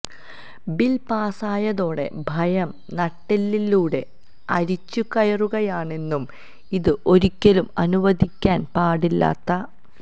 bill പാസായതോടെ ഭയം നട്ടെല്ലിലൂടെ അരിച്ചുകയറുകയാണെന്നും ഇത് ഒരിക്കലും അനുവദിക്കാന് പാടില്ലാത്ത